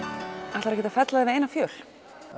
ætlarðu ekkert að fella þig við eina fjöl